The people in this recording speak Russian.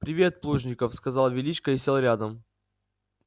привет плужников сказал величко и сел рядом